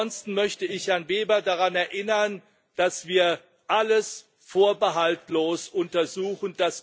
Ansonsten möchte ich Herrn Weber daran erinnern, dass wir alles vorbehaltlos untersuchen.